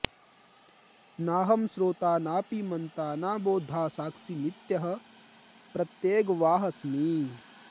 नाहं श्रोता नापि मन्ता न बोद्धा साक्षी नित्यः प्रत्यगेवाहमस्मि